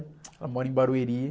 Ela mora em Barueri.